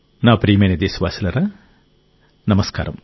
నా ప్రియమైన దేశవాసులారా నమస్కారం